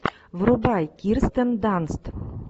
врубай кирстен данст